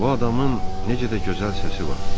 Bu adamın necə də gözəl səsi var.